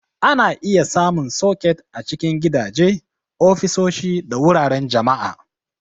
Ana iya samun soket a cikin gidaje, ofisoshi, da wuraren jama'a.